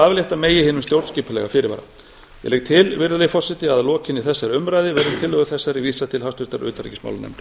aflétta megi hinum stjórnskipulega fyrirvara ég legg til virðulegi forseti að að lokinni þessari umræðu verði tillögu þessari vísað til háttvirtrar utanríkismálanefndar